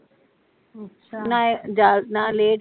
ਅੱਛਾ